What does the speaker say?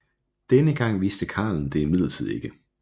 Denne gang vidste karlen det imidlertid ikke